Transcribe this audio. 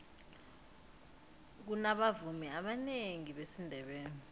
kunabavumi abanengi besindebele